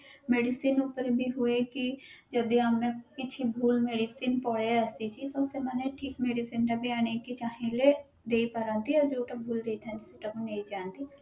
medicine ଉପରେ ବି ହୁଏ କି ଯଦି ଆମେ କିଛି ଭୁଲ medicine ପଳେଈ ଆସିଛି ତ ସେମାନେ ଠିକ medicine ଟା ବି ଆଣିକି ଚାହିଁଲେ ଦେଇ ପାରନ୍ତି ଆଉ ଯୋଉଟା ଭୁଲ ଦେଇଥାନ୍ତି ସେଇଟା କୁ ନେଇ ଯାନ୍ତି